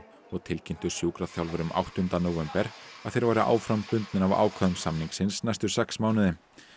og tilkynntu sjúkraþjálfurum áttunda nóvember að þeir væru áfram bundnir af ákvæðum samningsins næstu sex mánuði